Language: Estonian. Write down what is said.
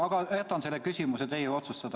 Aga jätan selle küsimuse teie otsustada.